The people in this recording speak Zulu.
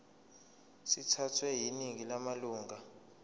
sithathwe yiningi lamalunga